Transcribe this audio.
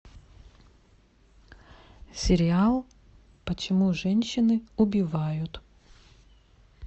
сериал почему женщины убивают